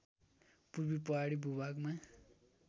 पूर्वी पहाडी भूभागमा